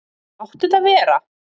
Láttu þetta vera!